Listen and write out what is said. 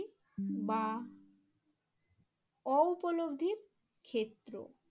বা অউপলব্ধির ক্ষেত্র।